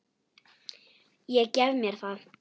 Ég gef mér það.